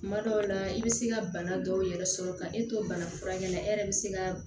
Kuma dɔw la i bɛ se ka bana dɔw yɛrɛ sɔrɔ ka e to bana furakɛ la e yɛrɛ bɛ se ka